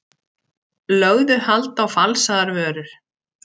Lögðu hald á falsaðar vörur